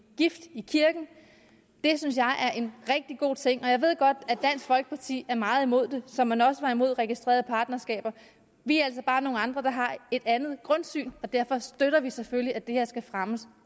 gift i kirken det synes jeg er en rigtig god ting og jeg ved godt at dansk folkeparti er meget imod det som man også var imod registrerede partnerskaber vi er altså bare nogle andre der har et andet grundsyn og derfor støtter vi selvfølgelig at det her skal fremmes